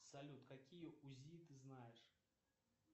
салют какие узи ты знаешь